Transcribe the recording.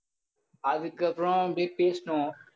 அதுக்கப்புறம் அப்படியே பேசினோம்.